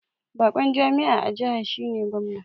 Bakon jami'a a jiha shine Gwamna